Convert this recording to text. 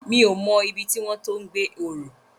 Mi ó mò ibi tiwòn to gbé òrò